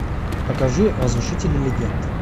покажи разрушители легенд